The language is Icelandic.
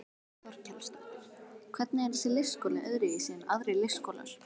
Þórhildur Þorkelsdóttir: Hvernig er þessi leikskóli öðruvísi en aðrir leikskólar?